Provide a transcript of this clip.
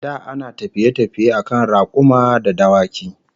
Da ana tafiye-tafiye akan rakuma da dawaki